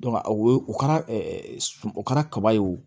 o ye u kɛra o kɛra kaba ye o